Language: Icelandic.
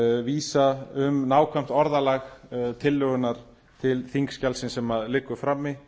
vísa um nákvæmt orðalag tillögunnar til þingskjalsins sem liggur frammi